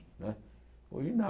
Não é hoje não.